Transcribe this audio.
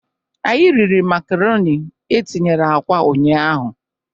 Anyị riri makaroni e tinyere akwa ụnyaahụ.